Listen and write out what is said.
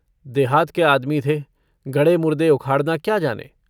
देहात के आदमी थे गड़े मुर्दे उखाड़ना क्या जाने।